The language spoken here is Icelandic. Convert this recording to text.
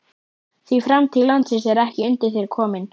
Því framtíð landsins er ekki undir þér komin.